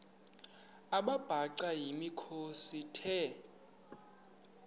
amabhaca yimikhosi the